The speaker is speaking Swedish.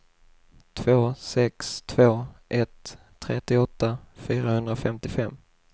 två sex två ett trettioåtta fyrahundrafemtiofem